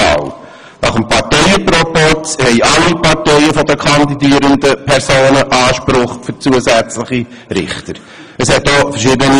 Gemäss Parteienproporz haben alle Parteien, denen die kandidierenden Personen angehören, einen Anspruch auf zusätzliche Richterstellen.